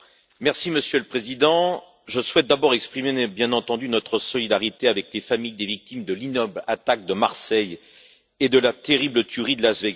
Monsieur le Président, je souhaite d'abord exprimer, bien entendu, notre solidarité avec les familles des victimes de l'ignoble attaque de Marseille et de la terrible tuerie de Las Vegas.